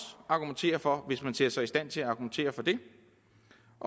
argumentere for hvis man altså ser sig i stand til at argumentere for det